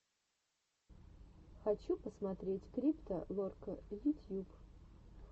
хочу посмотреть крипто лорка ютьюб